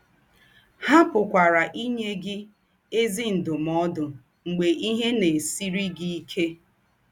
Há pụ̀kwara ínyé ínyé gị “ ézì ndúmòdù̄ ” mḡbè ìhè na - èsírí gị íké.